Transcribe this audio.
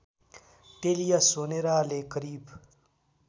टेलिया सोनेराले करिब